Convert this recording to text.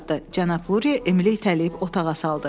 Cənab Lurie Emili itələyib otağa saldı.